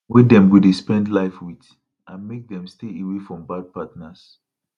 wey dem go dey spend life with and make dem stay away from bad partners